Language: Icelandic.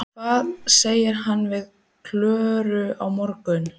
Hvað segir hann við Klöru á morgun?